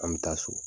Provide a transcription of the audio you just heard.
An bɛ taa so